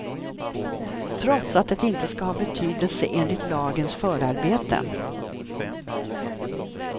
Trots att det inte ska ha betydelse, enligt lagens förarbeten.